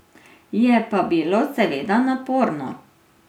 Je pa bilo seveda naporno.